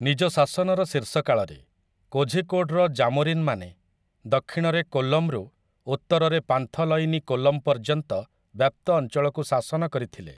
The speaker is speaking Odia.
ନିଜ ଶାସନର ଶୀର୍ଷକାଳରେ, କୋଝିକୋଡ଼୍‌ର ଜାମୋରିନ୍‌ମାନେ ଦକ୍ଷିଣରେ କୋଲ୍ଲମ୍‌ରୁ ଉତ୍ତରରେ ପାନ୍ଥଲୟିନୀ କୋଲ୍ଲମ୍‌ ପର୍ଯ୍ୟନ୍ତ ବ୍ୟାପ୍ତ ଅଞ୍ଚଳକୁ ଶାସନ କରିଥିଲେ ।